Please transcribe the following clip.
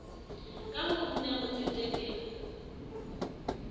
ka ho una ho tseteleng